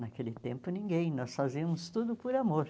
Naquele tempo ninguém, nós fazíamos tudo por amor.